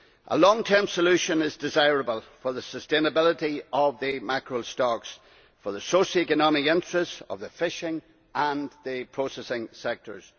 A long term solution is desirable for the sustainability of the mackerel stocks, for the socio economic interests of the fishing and the processing sectors.